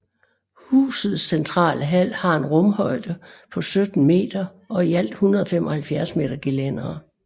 Husets centrale hal har en rumhøjde på 17 meter og i alt 175 m gelændere